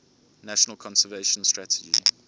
national conservation strategy